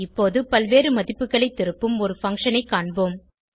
இப்போது பல்வேறு மதிப்புகளை திருப்பும் ஒரு பங்ஷன் ஐ காண்போம்